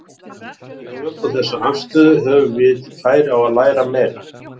Ef við tökum þessa afstöðu höfum við færi á að læra meira.